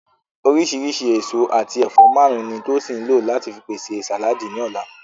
Oríṣìíríṣìí èso àti ẹ̀fọ́ márùn-ún ni Tosin lò láti pèsè sàláàdì ní ọ̀la